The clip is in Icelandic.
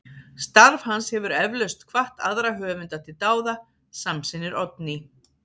Starf hans hefur eflaust hvatt aðra höfunda til dáða, samsinnir Oddný.